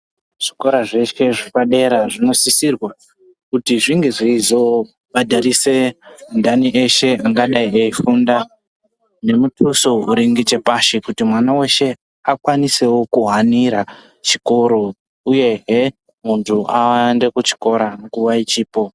Zvikora zveshe zvepadera zvinosisirwe kuti zvinge zveizo bhadharise vantani eshe angadai eyi funda nge muduso uri nechepashi kuti mwana weshe akwanisire wo kuhanira chikoro uyehe muntu ayende kuchikora nguva ichipo.